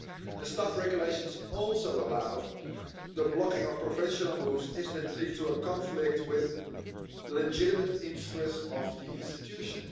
The Staff Regulations also allow the blocking of professional moves if that leads to a conflict with the legitimate interests of the institution.